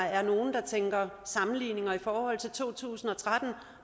er nogle der tænker sammenligninger i forhold til to tusind og tretten